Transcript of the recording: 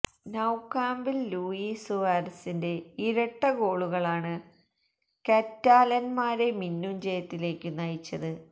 നൌകാംപില് Luis സുവാരസിന്റെ ഇരട്ട ഗോളുകളാണ് കറ്റാലന്മാരെ മിന്നും ജയത്തിലേക്കു നയിച്ചത്